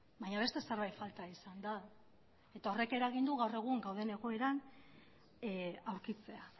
baina beste zerbait falta izan da eta horrek eragin du gaur egun gauden egoeran aurkitzea